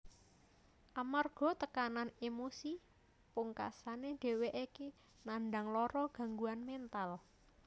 Amarga tekanan emosi pungkasane dhèwèké nandang lara gangguan méntal